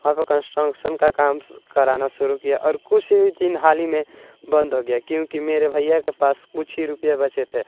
यहां पर कंस्ट्रक्शन का काम करना शुरू किया और कुछ ही दिन हाल ही में बंद हो गया क्योंकि मेरे भइया के पास कुछ ही रुपया बच्चे थे अब--